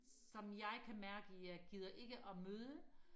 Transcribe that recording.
som jeg kan mærke jeg gider ikke og møde